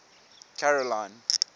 caroline